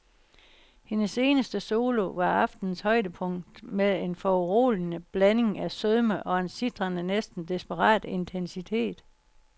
Hendes eneste solo var aftenens højdepunkt med en foruroligende blanding af sødme og en sitrende, næsten desperat intensitet.